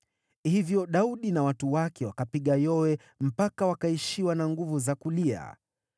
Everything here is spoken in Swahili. Hivyo Daudi na watu wake wakapiga yowe mpaka wakaishiwa na nguvu za kulia.